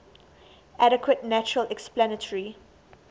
adequate natural explanatory